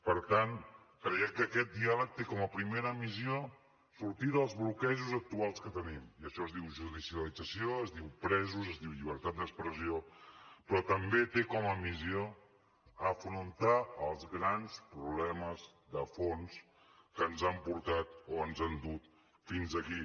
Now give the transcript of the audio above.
per tant creiem que aquest diàleg té com a primera missió sortir dels bloquejos actuals que tenim i això es diu judicialització es diu presos es diu llibertat d’expressió però també té com a missió afrontar els grans problemes de fons que ens han portat o ens han dut fins aquí